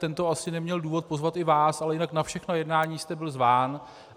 Tento asi neměl důvod pozvat i vás, ale jinak na všechna jednání jste byl zván.